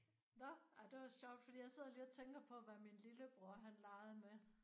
Nåh. Ej det var sjovt fordi jeg sidder lige og tænker på hvad min lillebror han legede med